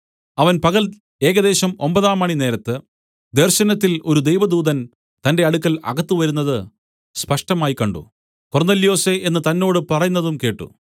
അവൻ പകൽ ഏകദേശം ഒമ്പതാംമണി നേരത്ത് ദർശനത്തിൽ ഒരു ദൈവദൂതൻ തന്റെ അടുക്കൽ അകത്തുവരുന്നത് സ്പഷ്ടമായി കണ്ട് കൊർന്നൊല്യോസേ എന്ന് തന്നോട് പറയുന്നതും കേട്ട്